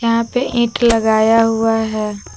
यहां पे इंट लगाया हुआ है।